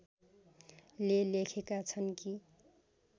ले लेखेका छन् कि